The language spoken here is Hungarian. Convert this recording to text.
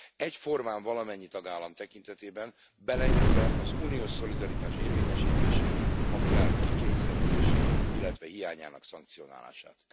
Egyformán valamennyi tagállam tekintetében, beleértve az uniós szolidaritás érvényesítését, ha kell, kikényszerítését, illetve hiányának szankcionálását.